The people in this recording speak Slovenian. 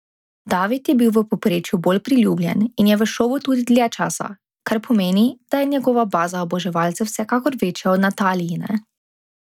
David je bil v povprečju bolj priljubljen in je v šovu tudi dlje časa, kar pomeni, da je njegova baza oboževalcev vsekakor večja od Natalijine.